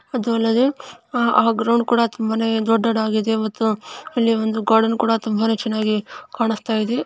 ಅದು ಅಲ್ಲದೇ ಆ ಗ್ರೌಂಡ್ ಕೂಡ ತುಂಬಾನೇ ದೊಡ್ಡದಾಗಿದೆ ಮತ್ತು ಅಲ್ಲಿ ಒಂದು ಗಾರ್ಡನ್ ಕೂಡಾ ತುಂಬಾ ಚೆನ್ನಾಗಿ ಕಾಣಿಸುತಾ ಇದೆ.